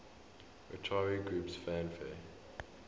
utari groups fanfare